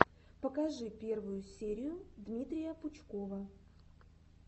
покажи первую серию дмитрия пучкова